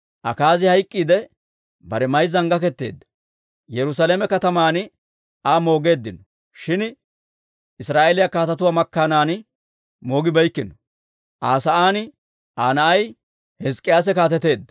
Akaazi hayk'k'iidde, bare mayzzan gaketeedda. Yerusaalame kataman Aa moogeeddino; shin Israa'eeliyaa kaatetuwaa makkaanan moogibeykkino. Aa sa'aan Aa na'ay Hizk'k'iyaase kaateteedda.